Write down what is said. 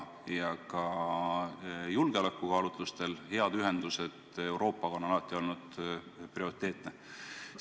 Ka julgeolekukaalutlustel on head ühendused Euroopaga alati olnud prioriteetsed.